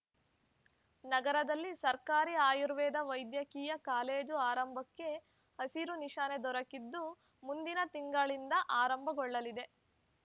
ನಗರದಲ್ಲಿ ಸರ್ಕಾರಿ ಆಯುರ್ವೇದ ವೈದ್ಯಕೀಯ ಕಾಲೇಜು ಆರಂಭಕ್ಕೆ ಹಸಿರು ನಿಶಾನೆ ದೊರಕಿದ್ದು ಮುಂದಿನ ತಿಂಗಳಿಂದ ಆರಂಭಗೊಳ್ಳಲಿದೆ